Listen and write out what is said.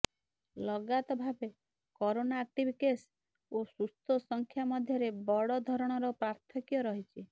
ଲଗାତ ଭାବେ corona active case ଓ ସୁସ୍ଥ ସଂଖ୍ୟା ମଧ୍ୟରେ ବଡ଼ ଧରଣର ପାର୍ଥକ୍ୟ ରହିଛି